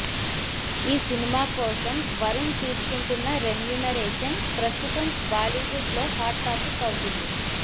ఈసినిమా కోసం వరుణ్ తీసుకుంటున్న రెమ్యూనరేషన్ ప్రస్తుతం బాలీవుడ్ లో హాట్ టాపిక్ అవుతుంది